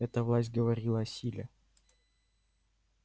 эта власть говорила о силе